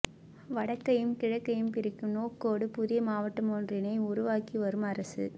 வடக்கையும் கிழக்கையும் பிரிக்கும் நோக்கோடு புதிய மாவட்டம் ஒன்றினை உருவாக்கி வரும் அரசு